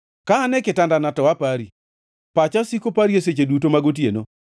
Ka an e kitandana to apari; pacha osiko pari seche duto mag otieno.